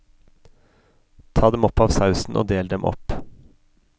Ta dem opp av sausen og del dem opp.